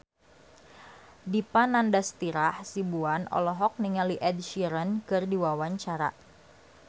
Dipa Nandastyra Hasibuan olohok ningali Ed Sheeran keur diwawancara